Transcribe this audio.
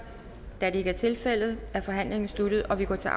da det ikke er tilfældet er forhandlingen sluttet og vi går til